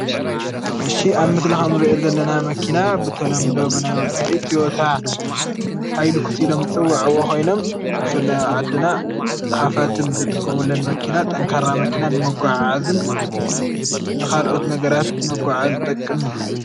እሺ ኣብ ምስሊ ክምንርእዮ ዘለና መኪና ብተለምዶ ናይ ወፃኢ ትዮታ፣ ሃይለኩስ ኢሎም ዝፅዉዐዎም ኮይኖም በፍላይ ኣብ ዓድና ሃፋትም ዝጥቀሙለን መኪና ጠንካራ መኪና ንምጉዓዓዝን ንካልኦት ነገራት መጓዓዓዚ ዝጠቅም እዩ፡፡